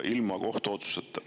Ilma kohtuotsuseta.